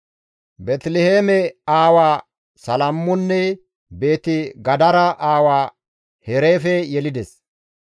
Beeteliheeme aawaa Salamonne Beeti-Gadera aawaa Hareefe yelides.